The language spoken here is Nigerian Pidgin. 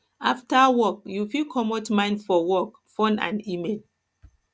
after work you fit comot mind for work phone and email